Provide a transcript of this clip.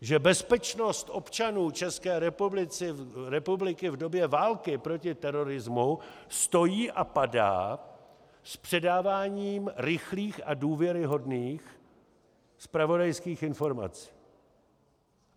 Že bezpečnost občanů České republiky v době války proti terorismu stojí a padá s předáváním rychlých a důvěryhodných zpravodajských informací.